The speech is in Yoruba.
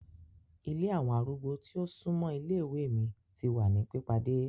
Ìlé awọn arúgbó ti o sunmọ ìlé-iwe mi ti wa ni pipade